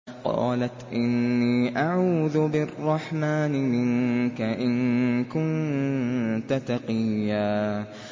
قَالَتْ إِنِّي أَعُوذُ بِالرَّحْمَٰنِ مِنكَ إِن كُنتَ تَقِيًّا